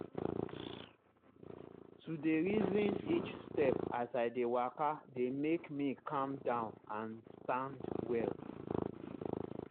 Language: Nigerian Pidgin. to dey reason each step as i dey waka dey make me calm down and stand well.